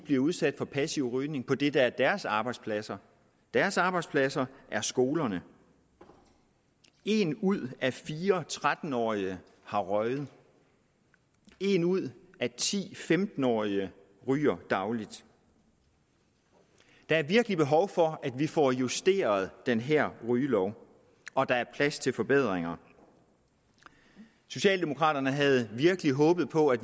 blive udsat for passiv rygning på det der er deres arbejdspladser deres arbejdspladser er skolerne en ud af fire tretten årige har røget en ud af ti femten årige ryger dagligt der er virkelig behov for at vi får justeret den her rygelov og der er plads til forbedringer socialdemokraterne havde virkelig håbet på at